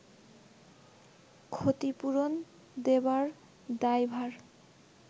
ক্ষতিপূরণ দেবার দায়ভার